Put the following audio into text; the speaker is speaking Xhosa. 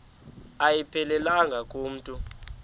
ayiphelelanga ku mntu